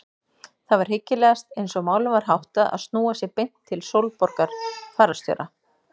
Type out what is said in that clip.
Það var hyggilegast eins og málum var háttað að snúa sér beint til Sólborgar fararstjóra.